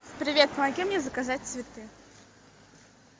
привет помоги мне заказать цветы